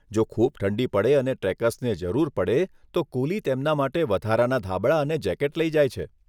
જો ખૂબ ઠંડી પડે અને ટ્રેકર્સને જરૂર પડે તો કુલી તેમના માટે વધારાના ધાબળા અને જેકેટ લઈ જાય છે.